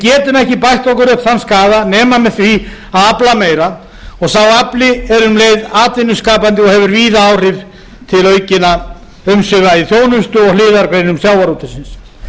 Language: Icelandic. okkur upp þann skaða nema með því að afla meira og sá afli er um leið atvinnuskapandi og hefur víða áhrif til aukinna umsvifa í þjónustu og hliðargreinum sjávarútvegsins